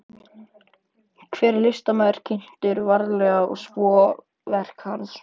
Hver listamaður kynntur vandlega, svo og verk hans.